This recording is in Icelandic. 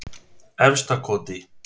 Efstakoti